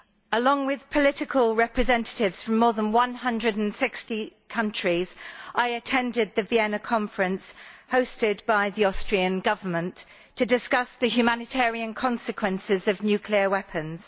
Along with political representatives from more than 160 countries, I attended the Vienna conference hosted by the Austrian Government to discuss the humanitarian consequences of nuclear weapons.